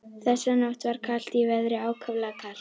Þessa nótt var kalt í veðri, ákaflega kalt.